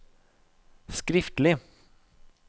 skriftlig